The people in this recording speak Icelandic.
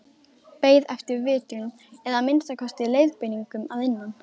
Beið eftir vitrun eða að minnsta kosti leiðbeiningum að innan.